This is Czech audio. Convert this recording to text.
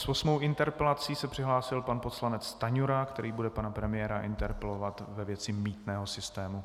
S osmou interpelací se přihlásil pan poslanec Stanjura, který bude pana premiéra interpelovat ve věci mýtného systému.